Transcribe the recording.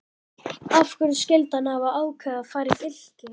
Af hverju skyldi hann hafa ákveðið að fara í Fylki?